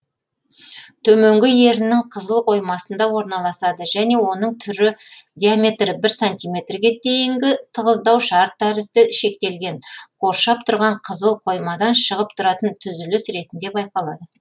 төменгі еріннің қызыл қоймасында орналасады және оның түрі диаметрі бір сантиметрге дейінгі тығыздау шар тәрізді шектелген қоршап тұрған қызыл қоймадан шығып тұратын түзіліс ретінде байқалады